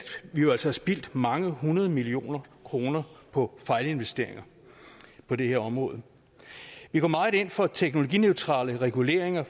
vi jo altså har spildt mange hundrede millioner kroner på fejlinvesteringer på det her område vi går meget ind for teknologineutrale reguleringer